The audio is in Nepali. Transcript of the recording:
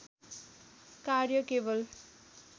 कार्य केवल